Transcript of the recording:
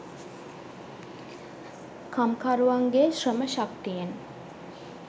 කම්කරුවන්ගේ ශ්‍රම ශක්තියෙන්